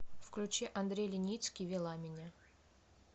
включи андрей леницкий вела меня